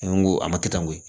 N ko a ma kɛ tan n ko